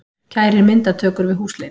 Kærir myndatökur við húsleit